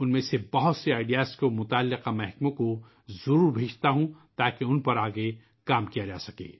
اُن میں سے بہت سے آئیڈیا کو میں متعلقہ شعبوں کو ضرور بھیجتا ہوں تاکہ اُن پر آگے کام کیا جا سکے